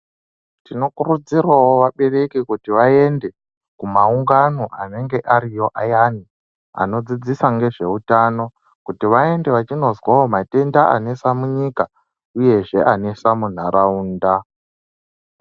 Tinokurudzirawo vabereki kuti vaende kumaungano anenge ariyo ayani anodzidzisa nezveutano kuti vaende vanozwa matenda anesa munyika neanesa mundaraunda.